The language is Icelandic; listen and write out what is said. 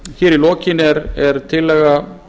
í lokin er tillaga